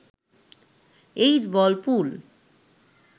8 ball pool